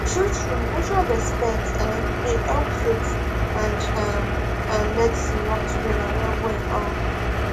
truetrue mutual respect um dey help faith and um um medicine work together well well um